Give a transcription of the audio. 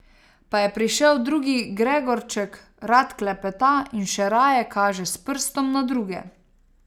Pa je prišel drugi Gregorček, rad klepeta in še raje kaže s prstom na druge.